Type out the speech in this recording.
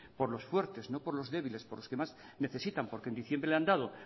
por los fuertes no por lo débiles por lo que más necesitan porque en diciembre le han dado